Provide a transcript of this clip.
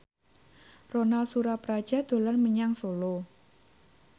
Ronal Surapradja dolan menyang Solo